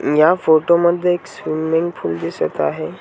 या फोटोमध्ये एक स्विमिंग पूल दिसत आहे.